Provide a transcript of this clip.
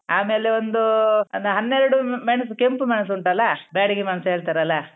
ಆಮೇಲೆ ಒಂದೂ ಒಂದ್ ಹನ್ನೆರಡು ಮೆಣ್ಸು ಕೆಂಪು ಮೆಣಸುಂಟಲ್ಲಾ ಬ್ಯಾಡಿಗೆ ಮೆಣಸ್ಸ್ ಹೇಳ್ತಾರಲ್ಲ.